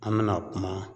An bɛna kuma